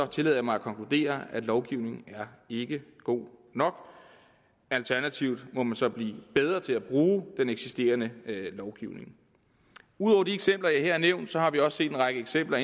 tillader jeg mig at konkludere at lovgivningen ikke er god nok alternativt må man så blive bedre til at bruge den eksisterende lovgivning ud over de eksempler jeg her har nævnt har vi også set en række eksempler